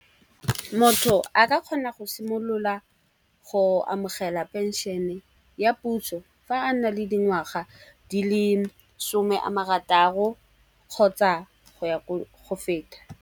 Motho a ka kgona go simolola go amogela pension-e ya puso fa a na le dingwaga di le some a marataro kgotsa go ya go feta.